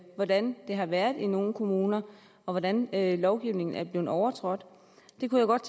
hvordan det har været i nogle kommuner og hvordan lovgivningen er blevet overtrådt jeg kunne godt